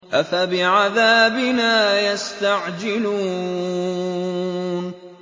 أَفَبِعَذَابِنَا يَسْتَعْجِلُونَ